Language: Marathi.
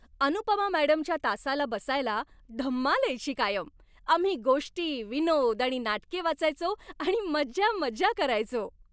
अनुपमा मॅडमच्या तासाला बसायला धमाल यायची कायम. आम्ही गोष्टी, विनोद आणि नाटके वाचायचो आणि मजा मजा करायचो.